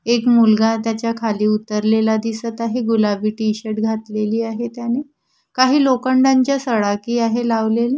एक मुलगा त्याच्या खाली उतरलेला दिसत आहे गुलाबी टी-शर्ट घातलेली आहे त्याने काही लोकंडांच्या सडाकी आहे लावलेल्या.